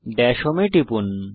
Das home এ টিপুন